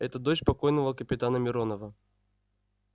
это дочь покойного капитана миронова